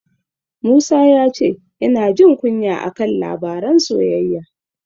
Musa ya ce yana jin kunya a kan labaran soyayya.